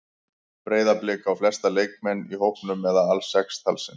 Breiðablik á flesta leikmenn í hópnum eða alls sex talsins.